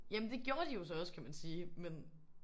Jamen det gjorde de jo så også kan man sige men